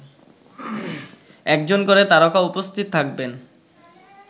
একজন করে তারকা উপস্থিত থাকবেন